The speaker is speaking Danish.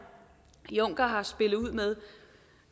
juncker har spillet ud med